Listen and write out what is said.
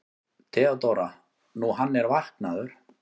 THEODÓRA: Nú, hann er vaknaður.